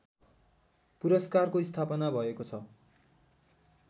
पुरस्कारको स्थापना भएको छ